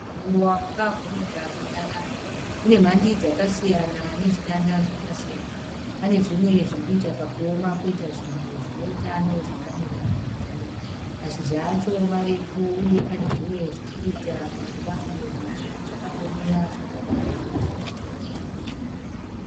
Muruva wakavhurika zvakanaka. Une mhandi dzakasiyana nezvitanda zvakasiyana. Pane zvimwe zviri kuita kakuoma poita zvimwe zvine utano zvakamira zviri girini. Mashizha acho marefu uye pane zvimwe zviri kuita kakuda kudonha zvakangomira zvakadaro.